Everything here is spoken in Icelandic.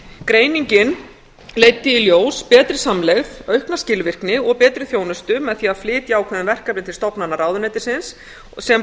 greiningin leiddi í ljós betri samlegð aukna skilvirkni og betri þjónustu með því að flytja ákveðin verkefni til stofnana ráðuneytisins en þessar stofnanir